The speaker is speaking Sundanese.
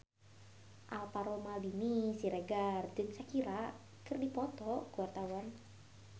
Alvaro Maldini Siregar jeung Shakira keur dipoto ku wartawan